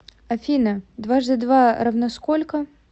афина дважды два равно сколько